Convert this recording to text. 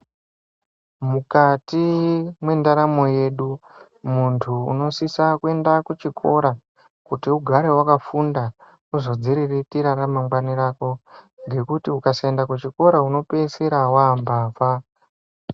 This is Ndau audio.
Mukati mendaramo yedu muntu anosisa kuenda kuchikora kuti ugare wakafunda wozvozviriritira unofanira kuti ngekuti ukaenda kuchikora unopedzisira wambavha.